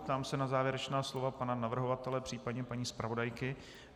Ptám se na závěrečná slova pana navrhovatele, příp. paní zpravodajky.